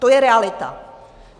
To je realita.